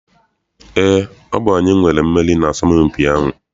Eé, ọ bụ anyị nwere mmeri n'asọmpi ahụ.